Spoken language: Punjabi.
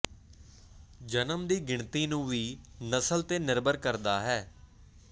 ਜਨਮ ਦੀ ਗਿਣਤੀ ਨੂੰ ਵੀ ਨਸਲ ਤੇ ਨਿਰਭਰ ਕਰਦਾ ਹੈ